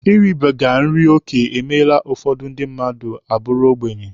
Iribiga nri oke emeela ka ụfọdụ ndị mmadụ bụrụ ogbenye.